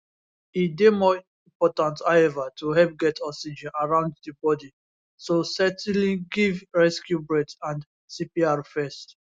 e dey more important however to help get oxygen around di body so certainly give rescue breaths and cpr first